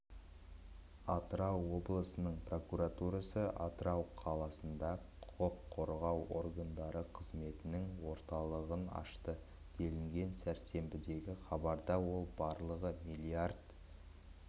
атырау облысының прокуратурасы атырау қаласында құқық қорғау органдары қызметінің орталығын ашты делінген сәрсенбідегі хабарда ол барлығы миллиард